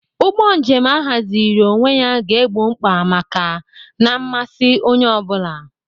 Ụgbọ njem ahaziri onwe ya ga-egbo mkpa na mmasị onye ọ bụla.